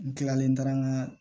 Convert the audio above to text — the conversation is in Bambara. N kilalen taara n ka